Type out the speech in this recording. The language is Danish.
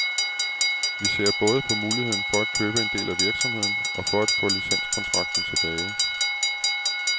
Vi ser både på muligheden for at købe en del af virksomheden og for at få licenskontrakten tilbage.